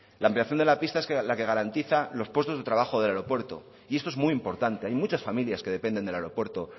la ampliación de la pista es la que garantiza los puestos de trabajo del aeropuerto y esto es muy importante hay muchas familias que dependen del aeropuerto